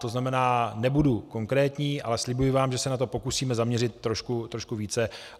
To znamená, nebudu konkrétní, ale slibuji vám, že se na to pokusíme zaměřit trošku více.